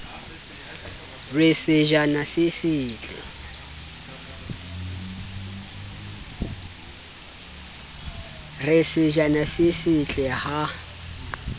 re sejana se setle ha